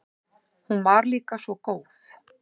Hún var líka svo góð.